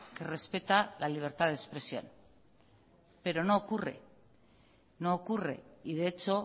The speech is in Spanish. que respeta la libertad de expresión pero no ocurre y de hecho